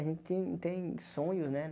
A gente tem sonhos, né?